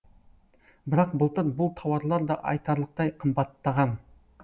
бірақ былтыр бұл тауарлар да айтарлықтай қымбаттаған